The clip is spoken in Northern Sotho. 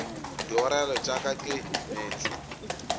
diorelo tša ka ke meetse